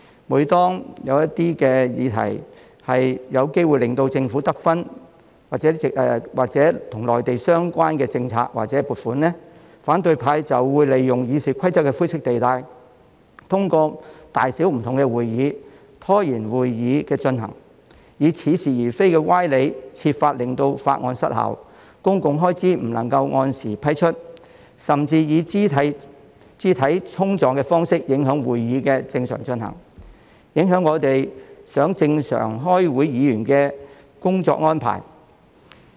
每當一些議題有機會令政府得分或與內地政策及撥款有關，反對派就會利用《議事規則》的灰色地帶，通過大小不同的會議，拖延會議的進行，以似是而非的歪理設法令法案失效，公共開支不能按時批出，甚至以肢體衝撞的方式影響會議的正常進行，影響如我們想正常開會議員的工作安排。